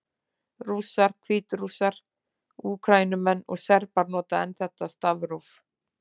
Rússar, Hvítrússar, Úkraínumenn og Serbar nota enn þetta stafróf.